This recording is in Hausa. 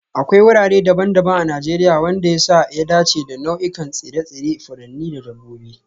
Akwai wurare daban-daban a Najeriya wanda ya sa ya dace da nau'ikan tsire-tsire, furanni da dabbobi